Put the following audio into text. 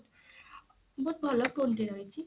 ବହୁତ ଭଲ phone ଦିଆହେଇଛି